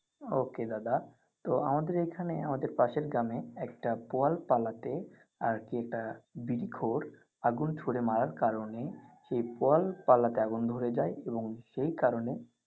ওকে দাদা তো আমাদের এখানে আমাদের পাশের গ্রামে একটা পল পালাতে আর কি একটা বিডি খোর আগুন ছুড়ে মারার কারণে ওই পল পালাতে আগুন ধরে যাই এবং সেই কারণে।